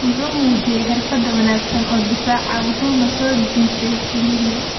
Wuxuu muujiyay xirfad wanaagsan oo difaac ah wuxuuna soo jiitay Lille.